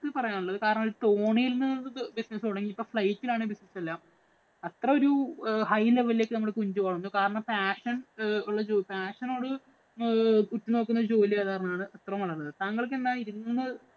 എനിക്ക് പറയാന്‍ ഉള്ളത്. കാരണം ഒരു തോണിയില്‍ നിന്ന് business തുടങ്ങി ഇപ്പൊ flight ഇലാണേ business എല്ലാം. അത്ര ഒരു high level ഇലേക്ക് നമ്മുടെ കുഞ്ചു വളര്‍ന്നു. കാരണം passion ഒള്ള ഒരു passion ഓട് ഉറ്റു നോക്കുന്ന ജോലി കാരണം ആണ് അത്ര വളര്‍ന്നത്. താങ്കള്‍ക്ക് എന്താണ് ഇതില്‍ നിന്ന്